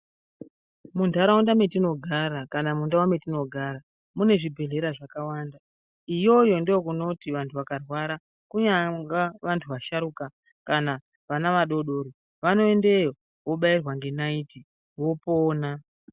Muntharaunda metinogara kana mundau metinogara, mune zvibhedhlera zvakawanda. Iyoyo ndokunoti vanthu vakarwara kunyanga vanthu vasharuka kana vana vadodori, vanoendeyo vobairwa ngenaiti vopona.